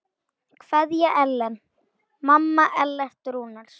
Kveðja Ellen, mamma Ellert Rúnars.